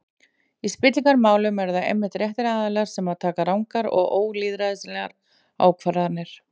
Í spillingarmálum eru það einmitt réttir aðilar sem taka rangar og ólýðræðislegar ákvarðanir.